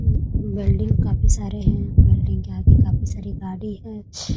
मम वैल्डिंग काफी सारे हैं वैल्डिंग के आगे काफी सारी गाड़ी है।